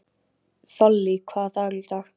Þollý, hvaða dagur er í dag?